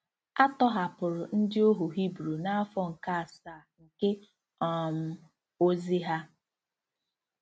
A tọhapụrụ ndị ohu Hibru n'afọ nke asaa nke um ozi ha.